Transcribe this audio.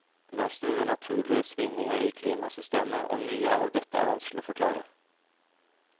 Det er store naturlige svingninger i klimasystemet, og mye av dette er vanskelig å forklare.